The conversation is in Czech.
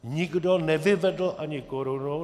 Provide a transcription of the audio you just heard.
Nikdo nevyvedl ani korunu.